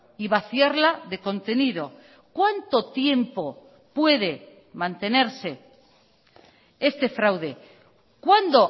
y vaciarla de contenido cuánto tiempo puede mantenerse este fraude cuándo